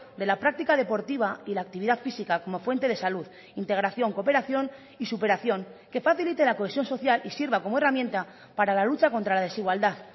de la práctica deportiva y la actividad física como fuente de salud integración cooperación y superación que facilite la cohesión social y sirva como herramienta para la lucha contra la desigualdad